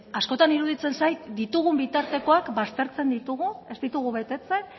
askotan iruditzen zait ditugun bitartekoak baztertzen ditugu ez ditugu betetzen